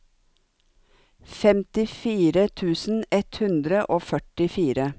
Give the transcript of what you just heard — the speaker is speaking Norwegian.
femtifire tusen ett hundre og førtifire